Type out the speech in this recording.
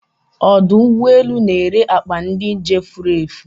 Odụ ụgbọ elù n'ere akpa ndị njem furefu